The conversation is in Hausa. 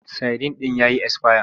Sadin ɗin ya yi esfaya.